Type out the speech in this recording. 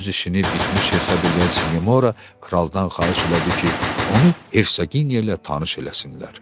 Öz işini bitmiş hesab eləyən Sinemora kraldan xahiş elədi ki, onu Hersaqiniya ilə tanış eləsinlər.